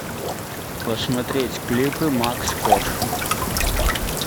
посмотреть клипы макс корж